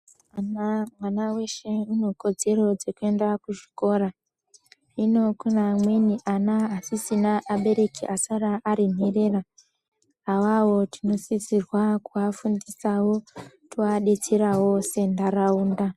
Mazuva ano mwana weshe une kodzero dzeku enda ku chikora hino kune amweni ana asisina abereki asara ari nherera awawo tino sisirwa kuva fundisawo tova detserawo se ndaraunda.